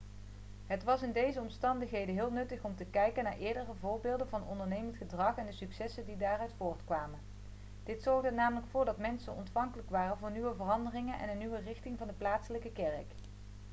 het was in deze omstandigheden heel nuttig om te kijken naar eerdere voorbeelden van ondernemend gedrag en de successen die daaruit voortkwamen dit zorgde er namelijk voor dat mensen ontvankelijk waren voor nieuwe veranderingen en een nieuwe richting voor de plaatselijke kerk